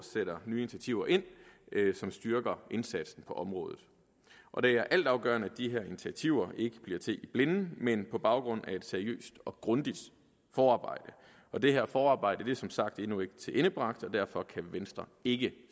sætter nye initiativer ind som styrker indsatsen på området og det er altafgørende at de her initiativer ikke bliver til i blinde men på baggrund af et seriøst og grundigt forarbejde og det her forarbejde er som sagt endnu ikke tilendebragt og derfor kan venstre ikke